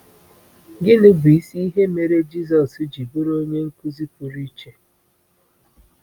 Gịnị bụ isi ihe mere Jisọs ji bụrụ onye nkuzi pụrụ iche?